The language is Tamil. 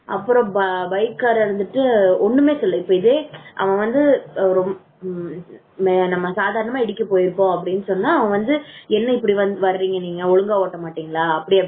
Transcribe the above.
அப்புறம் பைக்காரா இருந்துட்டு ஒண்ணுமே சொல்லல இதே அவன் வந்து நம்ம சாதாரணமா இடிக்க போயிருப்போம் அப்படின்னு சொன்னா அவன் வந்து என்ன இப்படி வரீங்க ஒழுங்கா ஓட்ட மாட்டீங்களா? அப்படி அப்படின்னு